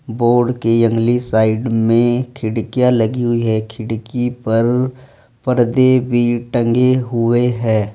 Board की अगली side में खिड़कियां लगी हुई है खिड़की पर पर्दे भी टंगे हुए हैं।